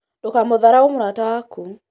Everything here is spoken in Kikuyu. ndũkamũtharaũ mũrata waku